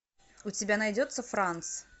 у тебя найдется франц